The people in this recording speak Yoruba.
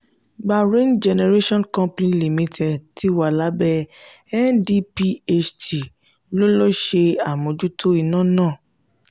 gbarain generation company limited tí wà lábẹ ndphc ló ló ṣe àmójútó iná ná.